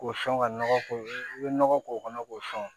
K'o sɔn ka nɔgɔ k'o i bɛ nɔgɔ k'o kɔnɔ k'o sɔn